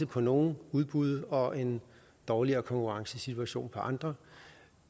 på nogle udbud og en dårligere konkurrencesituation på andre